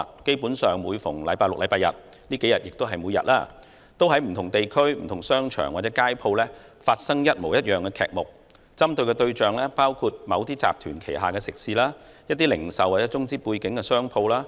基本上每逢周六、周日，而近數天更是每天，都在不同地區、商場或街鋪，發生一模一樣的劇目，針對的對象包括某些集團旗下的食肆、一些零售或中資背景的商鋪。